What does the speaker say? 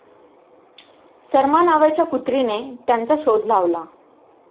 सरमा नावाच्या कुत्रीने त्यांचा शोध लावला.